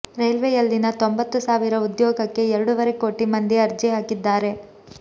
ರೈಲ್ವೆಯಲ್ಲಿನ ತೊಂಬತ್ತು ಸಾವಿರ ಉದ್ಯೋಗಕ್ಕೆ ಎರಡೂವರೆ ಕೋಟಿ ಮಂದಿ ಅರ್ಜಿ ಹಾಕಿದ್ದಾರೆ